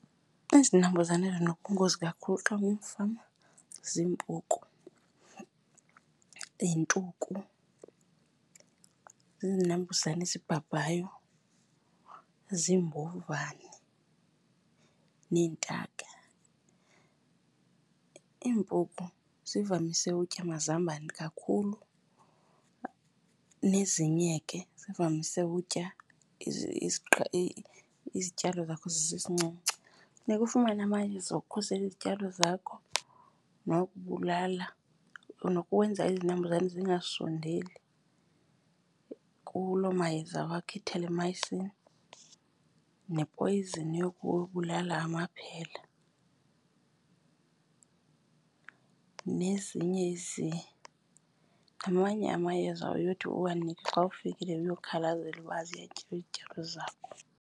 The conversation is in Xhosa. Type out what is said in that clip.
Izinambuzane ezinobungozi kakhulu xa ungumfama ziimpuku, yintuku, zizinambuzane ezibhabhayo, ziimbovane neentaka. Iimpuku zivamise utya amazambane kakhulu, nezinye ke zivamise utya izityalo zakho zisesincinci. Funeka ufumane amayeza okukhusela izityalo zakho nokubulala, nokwenza izinambuzane zingasondeli kuloo mayeza wakho, ithelemayisini nepoyizini yokubulala amaphela nezinye , namanye amayeza oye uthi uwanikwe xa ufikile uyokhalazela uba ziyatyiwa izityalo zakho.